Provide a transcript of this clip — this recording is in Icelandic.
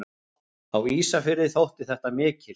Á Ísafirði þótti þetta mikil.